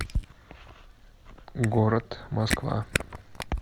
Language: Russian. город москва